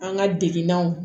An ka degunnaw